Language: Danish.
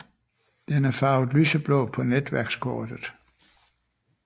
Den er farvet lyseblå på netværkskortet